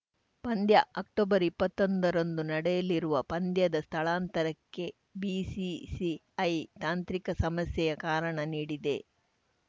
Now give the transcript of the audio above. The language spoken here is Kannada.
ಪಂದ್ಯ ಅಕ್ಟೊಬರ್ಇಪ್ಪತ್ತೊಂಬತ್ತರಂದು ನಡೆಯಲಿರುವ ಪಂದ್ಯದ ಸ್ಥಳಾಂತರಕ್ಕೆ ಬಿಸಿಸಿಐ ತಾಂತ್ರಿಕ ಸಮಸ್ಯೆಯ ಕಾರಣ ನೀಡಿದೆ